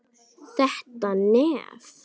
Þetta nef!